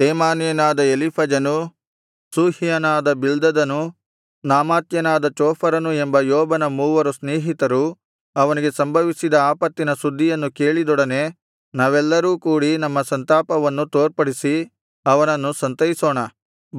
ತೇಮಾನ್ಯನಾದ ಎಲೀಫಜನು ಶೂಹ್ಯನಾದ ಬಿಲ್ದದನು ನಾಮಾಥ್ಯನಾದ ಚೋಫರನು ಎಂಬ ಯೋಬನ ಮೂವರು ಸ್ನೇಹಿತರು ಅವನಿಗೆ ಸಂಭವಿಸಿದ ಆಪತ್ತಿನ ಸುದ್ದಿಯನ್ನು ಕೇಳಿದೊಡನೆ ನಾವೆಲ್ಲರೂ ಕೂಡಿ ನಮ್ಮ ಸಂತಾಪವನ್ನು ತೋರ್ಪಡಿಸಿ ಅವನನ್ನು ಸಂತೈಸೋಣ